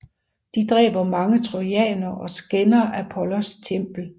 De dræber mange trojanere og skænder Apollos tempel